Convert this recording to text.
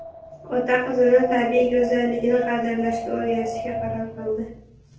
Ota qizini tabiiy go‘zallikni qadrlashga o‘rgatishga qaror qildi .